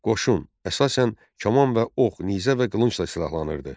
Qoşun əsasən kaman və ox, nizə və qılıncla silahlanırdı.